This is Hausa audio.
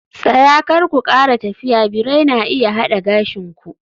Tsaya! Kar ku kara tafiya birai na iya hada gashin ku